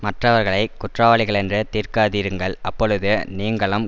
மற்றவர்களை குற்றவாளிகளென்று தீர்க்காதிருங்கள் அப்பொழுது நீங்களும்